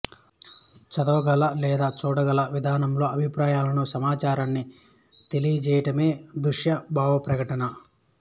చదవగల లేదా చూడగల విధానంలో అభిప్రాయాలను సమాచారాన్ని తెలియచేయడమే దృశ్య భావప్రకటన